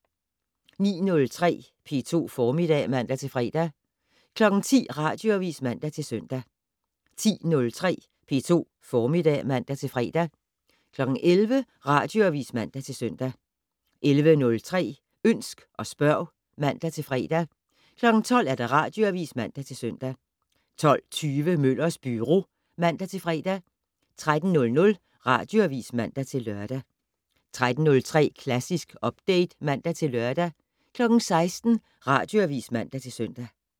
09:03: P2 Formiddag (man-fre) 10:00: Radioavis (man-søn) 10:03: P2 Formiddag (man-fre) 11:00: Radioavis (man-søn) 11:03: Ønsk og spørg (man-fre) 12:00: Radioavis (man-søn) 12:20: Møllers Byro (man-fre) 13:00: Radioavis (man-lør) 13:03: Klassisk Update (man-lør) 16:00: Radioavis (man-søn)